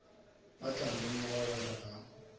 ba tla lemoga gore ga